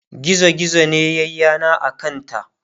gizo gizo ne yayi yana a kanta